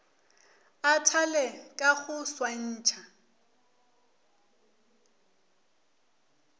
a thale ka go swantšha